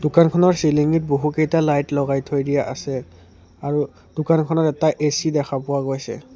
দোকানখনৰ চিলিঙিত বহুকেইটা লাইট লগাই থৈ দিয়া আছে আৰু দোকানখনত এটা এ_চি দেখা পোৱা গৈছে।